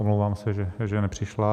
Omlouvám se, že nepřišla.